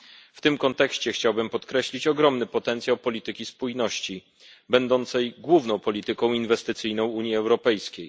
W tym kontekście chciałbym podkreślić ogromny potencjał polityki spójności, będącej główną polityką inwestycyjną Unii Europejskiej.